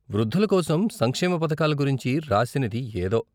వృద్ధుల కోసం సంక్షేమ పథకాల గురించి రాసినది ఏదో.